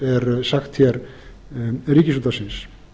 er sagt hér ríkisútvarpsins